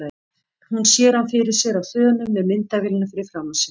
Hún sér hann fyrir sér á þönum með myndavélina fyrir framan sig.